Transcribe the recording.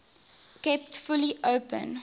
kept fully open